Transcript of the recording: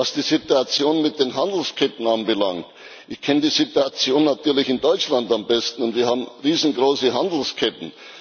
Was die Situation mit den Handelsketten anbelangt Ich kenne die Situation natürlich in Deutschland am besten, und wir haben riesengroße Handelsketten.